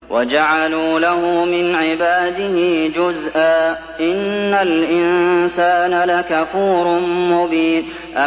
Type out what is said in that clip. وَجَعَلُوا لَهُ مِنْ عِبَادِهِ جُزْءًا ۚ إِنَّ الْإِنسَانَ لَكَفُورٌ مُّبِينٌ